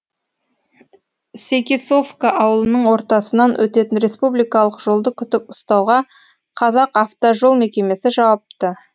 секисовка ауылының ортасынан өтетін республикалық жолды күтіп ұстауға қазақавтожол мекемесі жауапты